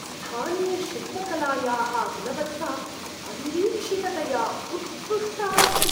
स्थानीयशिल्पकलायाः गुणवत्ता अनिरीक्षिततया उत्कृष्टा अस्ति।